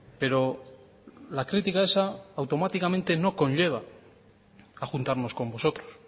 pero la crítica esa automáticamente no conlleva a juntarnos con vosotros